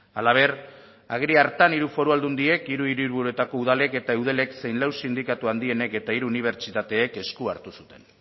halaber agiri hartan hiru foru aldundiek hiru hiriburuetako udalek eta eudelek zein lau sindikatu handienek eta hiru unibertsitateek esku hartu zuten